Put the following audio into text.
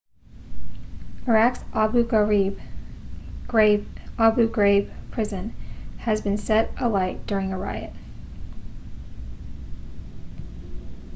iraq's abu ghraib prison has been set alight during a riot